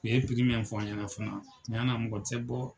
U ye min fɔ an ɲɛna fana cɛn na mɔgɔ te bɔ.